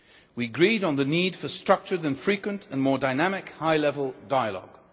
We agreed on the need for a structured, frequent and more dynamic high level dialogue.